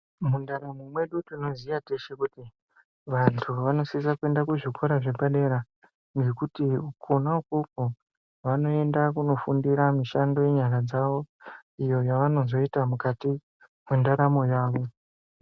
Mundaramo kwedu tinoziya teshe kuti wandu vanosisa kuenda kuzvikora zvepadera nekuti kona ikoko vanoenda kunofundira mishando yenyama dzawo iyo yavanozoita mukati mundaramo yawo